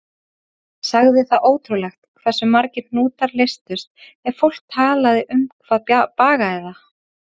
Sagði það ótrúlegt hversu margir hnútar leystust ef fólk bara talaði um hvað bagaði það.